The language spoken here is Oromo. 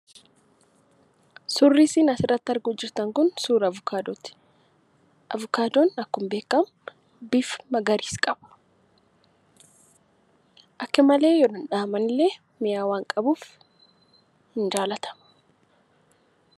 Suurri isiin asirratti arguu jirtan kun, suuraa Avukaadooti. Avukaadoon akkuma beekamu bifa magariisa qaba. Aakka malee dhaamallee mi'aa waan qabuf hin jaallata.